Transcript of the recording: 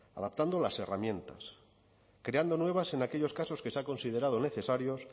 adaptando las herramientas creando nuevas en aquellos casos que se ha considerado necesarios